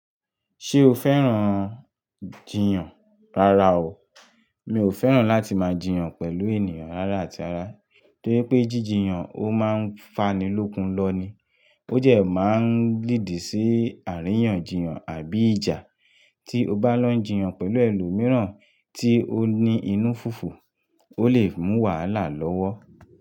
Ṣé o fẹ́ràn jiyàn? Rárá o, mi ò fẹ́ràn láti máa jiyàn pẹ̀lú ènìyàn rárá àti rara torí pé jíjiyàn a máa ń fanilókun lọ ni. Ó jẹ́ máa ń lìdí sí àríyànjiyàn àbí ìjà. Tí o bá lọ ń jiyàn pẹ̀lú ẹlòmíràn tí ó ní inú fùfù, ó lè mú wàhálà lọ́wọ́